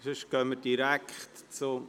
– Sonst fahren wir direkt weiter.